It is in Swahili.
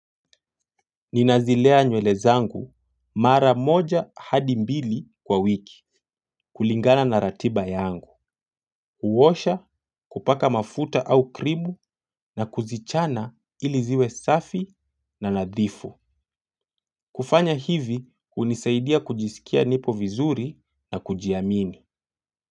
Ninazilea nywele zangu mara moja hadi mbili kwa wiki kulingana na ratiba yangu. Kuosha kupaka mafuta au kribu na kuzichana iliziwe safi na nadhifu. Kufanya hivi hunisaidia kujisikia nipo vizuri na kujiamini.